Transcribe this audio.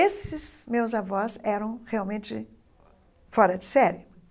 Esses meus avós eram realmente fora de série.